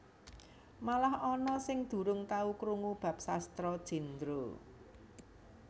Malah ana sing durung tau krungu bab Sastra Jendra